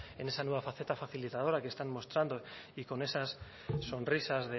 en esa nueva faceta facilitadora que están mostrando y con esas sonrisas